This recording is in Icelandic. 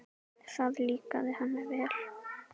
Það líkaði henni vel.